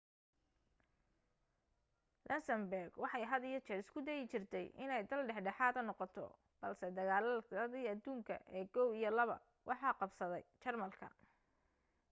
luxembourg waxay had iyo jeer isku dayi jirtay inay dal dhexdhexaada noqoto balse dagaaladii aduunka ee i iyo ii waxa qabsaday jarmalka